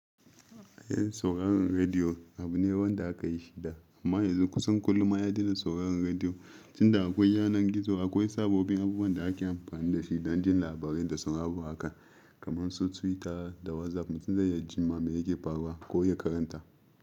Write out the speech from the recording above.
Eh sauraron rediyo abu ne wanda aka yi shi da, amma yanzu kusan kullum an daina sauraron rediyo. Tun da akwai yanar gizo akwai sabobbin abubuwan da ake amfani da shi don jin labarai da saurabo haka kamar su Twitter da WhatsApp mutum zai iya ji ma mai yake faruwa ko ya karanta.